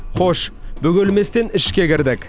хош бөгелместен ішке кірдік